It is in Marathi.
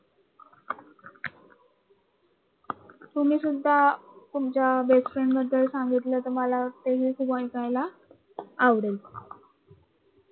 तुम्ही सुद्धा तुमच्या बेस्ट फ्रेंड बद्दल सांगितलं तर ते मला ऐकायला आवडेल